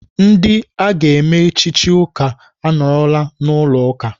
Ndị aga eme echichi ụka anọọrọla n'ụlọ ụka.